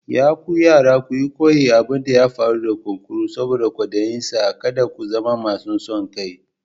Ya ku yara ku koyi abin da ya faru da kunkuru saboda kwadayinsa, kada ku zama mai son kai.